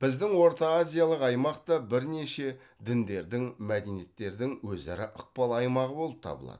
біздің орта азиялық аймақ та бірнеше діндердің мәдениеттердің өзара ықпал аймағы болып табылады